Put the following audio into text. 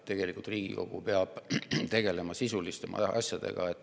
Tegelikult Riigikogu peab tegelema sisulisemate asjadega.